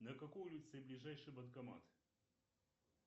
на какой улице ближайший банкомат